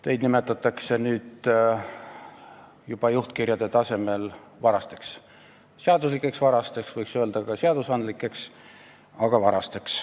Teid nimetatakse nüüd juba juhtkirjade tasemel varasteks – seaduslikeks varasteks, võiks öelda, et ka seadusandlikeks, aga varasteks.